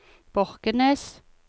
Borkenes